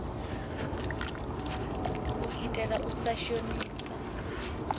u itela u sa shonisa